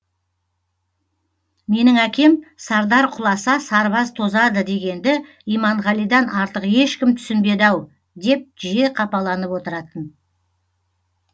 менің әкем сардар құласа сарбаз тозады дегенді иманғалидан артық ешкім түсінбеді ау деп жиі қапаланып отыратын